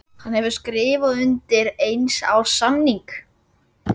Hann hefur skrifað undir eins árs samning.